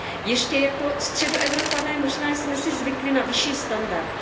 Ještě jako Středoevropané možná jsme si zvykli na vyšší standard.